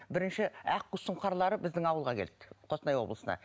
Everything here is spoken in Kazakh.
бірінші аққу сұңқарлары біздің ауылға келді қостанай облысына